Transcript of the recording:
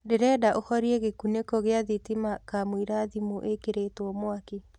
ndĩrenda ũhorĩe gikuniko gia thitima kamũĩra thĩmũ ĩkĩrĩtwo mwakĩ